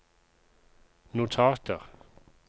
notater